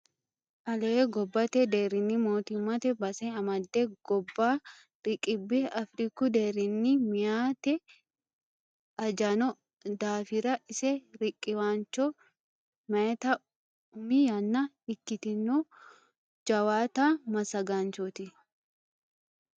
Ale gobbate deerinni mootimmate base amade gobba riqibbe Afiriku deerinni meyati ajano daafira ise riqiwancho mayitta umi yanna ikkitino jawaatta massagaanchoti.